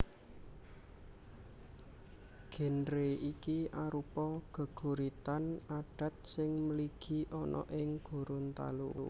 Génre iki arupa geguritan adat sing mligi ana ing Gorontalo